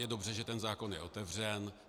Je dobře, že ten zákon je otevřen.